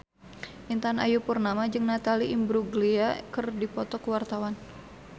Intan Ayu Purnama jeung Natalie Imbruglia keur dipoto ku wartawan